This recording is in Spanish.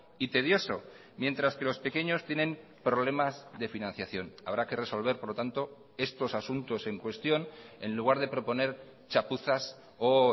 y tedioso mientras que los pequeños tienen problemas de financiación habrá que resolver por lo tanto estos asuntos en cuestión en lugar de proponer chapuzas o